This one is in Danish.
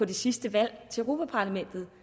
det sidste valg til europa parlamentet